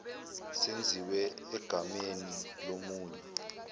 senziwe egameni lomunye